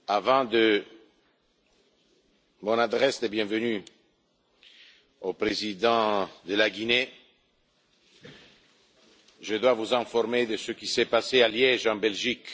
Avant mon allocution de bienvenue au Président de la Guinée, je dois vous informer de ce qui s'est passé à Liège, en Belgique.